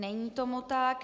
Není tomu tak.